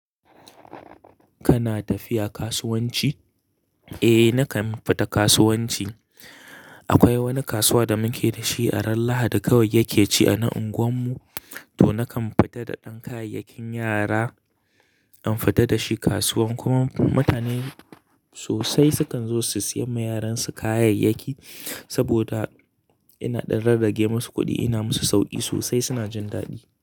Kana tafiya kasuwanci? Eh nakan fita kasuwanci. Akwai wani kasuwa da muke dashi a ran lahadi kawai yake ci a na unguwan mu to nakan fita da ɗan kayayyakin yara in fita dashi kasuwan kuma mutane sosai sukan zo su siya ma yaransu kayayyaki saboda ina ɗan rarrage masu kuɗi ina musu sauki sosai suna jin daɗi.